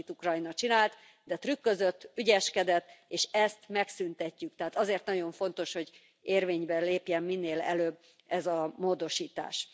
Sajnos, amit Ukrajna csinált, de trükközött, ügyeskedett, és ezt megszüntetjük, tehát azért nagyon fontos, hogy érvénybe lépjen minél előbb ez a módosítás.